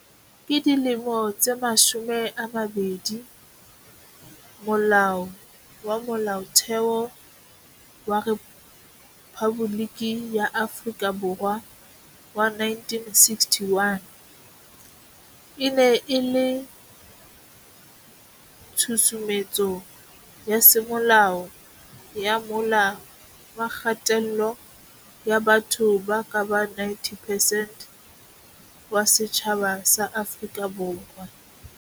Ka dilemo tse mashome a mabedi, Molao wa Molaotheo wa Rephaboliki ya Afrika Borwa wa 1961 e ne e le tshusumetso ya semolao ya mola wa kgatello ya batho ba kabang 90 percent wa setjhaba sa Afrika Borwa.